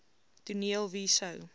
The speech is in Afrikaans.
toneel wie sou